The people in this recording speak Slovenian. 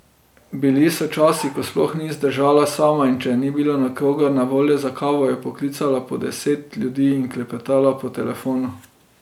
Bili so časi, ko sploh ni zdržala sama in če ni bilo nikogar na voljo za kavo, je poklicala po deset ljudi in klepetala po telefonu.